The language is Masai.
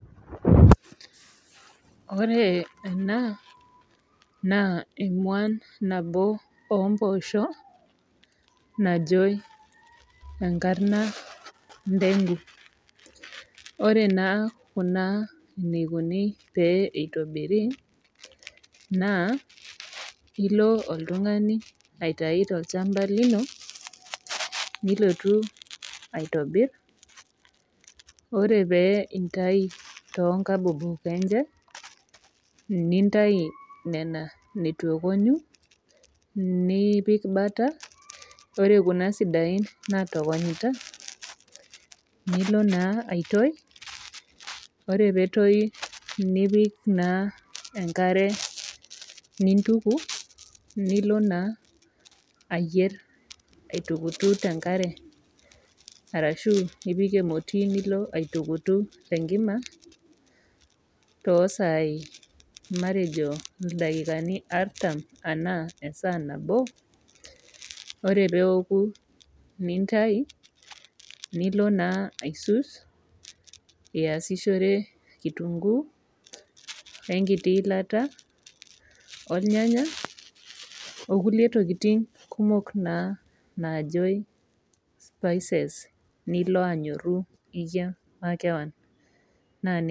Ore ena naa emuan nabo ompoosho najoi enkarna ndengu ore naa kuna eneikoni pee eitobiri naa ilo oltung'ani aitai tolchamba lino nilotu aitobirr ore pee intai tonkabobok enche nintai nena netu ekonyu nipik butter ore kuna sidain natokonyita nilo naa aitoi ore petoi nipik naa enkare nintuku nilo naa ayierr aitukutu tenkare arashu nipik emoti nilo aitukutu tenkima tosaai matejo ildakikani artam esaa nabo ore peoku nintai nilo naa aisus iyasishore kitunguu wenkiti ilata olnyanya okulie tokiting kumok naa naajoi spices nilo anyorru iyie makewan naa.